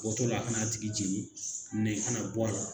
Bɔ tɔ la a kana tigi jeni kana bɔ